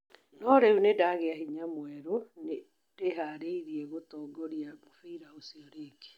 No rĩũ nindagĩa hĩnya mwerũ, nĩndĩharĩirĩe gũtongorĩa mũbĩra ũcĩo rĩngĩ